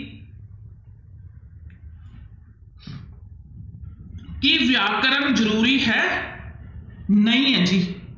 ਕੀ ਵਿਆਕਰਨ ਜ਼ਰੂਰੀ ਹੈ, ਨਹੀਂ ਹੈ ਜੀ।